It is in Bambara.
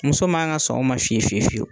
Muso man ka sɔn o ma fiyefiyewu